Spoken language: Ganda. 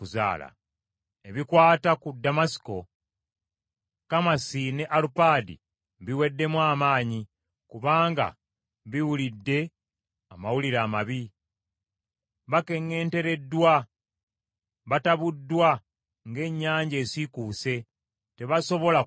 Ebikwata ku Damasiko: “Kamasi ne Alupaadi biweddemu amaanyi, kubanga biwulidde amawulire amabi. Bakeŋŋentereddwa, batabuddwa ng’ennyanja esiikuuse, tebasobola kutereera.